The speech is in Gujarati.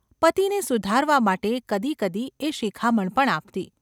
પતિને સુધારવા માટે કદી કદી એ શિખામણ પણ આપતી.